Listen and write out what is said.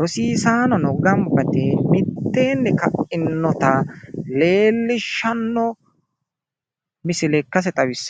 rosiisaanono gamba yite mitteenni ka'inota leellishshanno misile ikkase xawissanno.